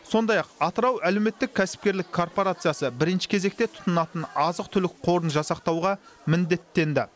сондай ақ атырау әлеуметтік кәсіпкерлік корпорациясы бірінші кезекте тұтынатын азық түлік қорын жасақтауға міндеттенді